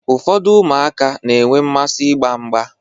Ụfọdụ ụmụaka na-enwe mmasị ịgba mgba.